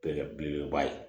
Belebele beleba ye